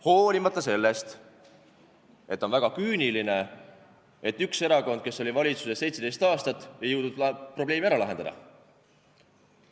Hoolimata sellest, et on väga küüniline, et üks erakond, kes oli valitsuses 17 aastat, ei jõudnud probleemi ära lahendada.